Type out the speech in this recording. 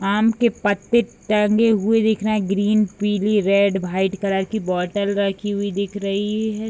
आम के पत्ते टंगे हुए दिख रहे हैं ग्रीन पीली रेड व्हाइट कलर की बोतल रखी हुई दिख रही है।